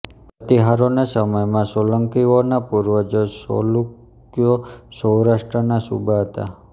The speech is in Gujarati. પ્રતિહારોના સમયમાં સોલંકીઓના પૂર્વજો ચૌલુક્યો સૌરાષ્ટ્રના સૂબા હતાં